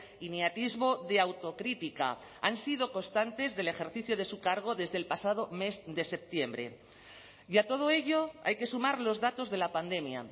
y ni atisbo de autocrítica han sido constantes del ejercicio de su cargo desde el pasado mes de septiembre y a todo ello hay que sumar los datos de la pandemia